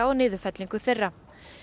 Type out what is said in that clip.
og niðurfellingu þeirra